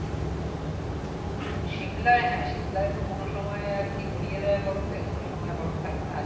but Shimla হ্যাঁ Shimla তো কোন সময় আরকি ভরিয়ে দেয় বরফে কোন সময় বরফ থাকে না